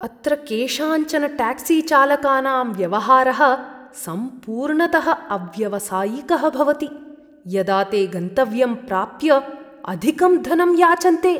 अत्र केषाञ्चन ट्याक्सीचालकानां व्यवहारः सम्पूर्णतः अव्यावसायिकः भवति, यदा ते गन्तव्यं प्राप्य अधिकं धनं याचन्ते।